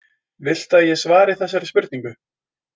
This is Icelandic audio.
Viltu að ég svari þessari spurningu?